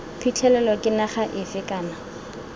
phitlhelelo ke naga efe kana